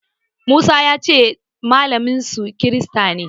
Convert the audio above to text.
Musa ya ce malaminsu kirista ne.